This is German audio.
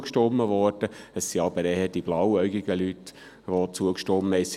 Es haben jedoch vor allem die blauäugigen Leute zugestimmt.